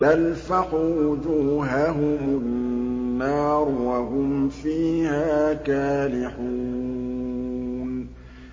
تَلْفَحُ وُجُوهَهُمُ النَّارُ وَهُمْ فِيهَا كَالِحُونَ